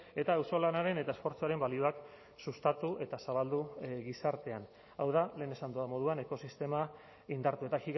eta auzolanaren eta esfortzuaren balioak sustatu eta zabaldu gizartean hau da lehen esan dudan moduan ekosistema indartu eta